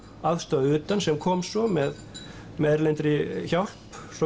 aðstoð að utan sem kom svo með með erlendri hjálp